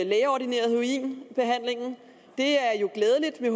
lægeordineret heroin det er jo glædeligt vi